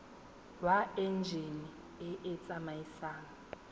wa enjine e e tsamaisang